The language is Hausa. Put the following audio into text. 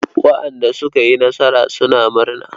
Waɗanda suka yi nasara suna murna.